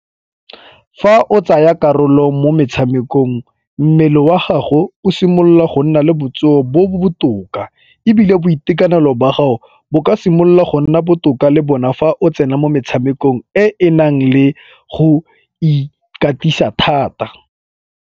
Fa o tsaya karolo mo metshamekong mmele wa gago o simolola go nna le botsogo bo bo botoka ebile boitekanelo ba gago bo ka simolola go nna botoka le bona fa o tsena mo metshamekong e e nang le go ikatisa thata.